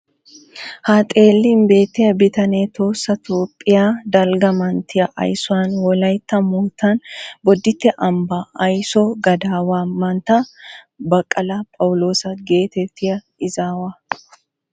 Ha xeellin beettiya bitanee Tohossa Toophphiya dalgga manttiya aysuwan wolaytta moottan bodditte ambbaa ayso gadaawaa manttaa Baqqala Phawuloosa geetettiya izaawa.